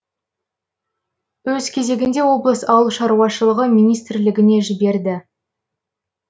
өз кезегінде облыс ауылшаруашылығы министрлігіне жіберді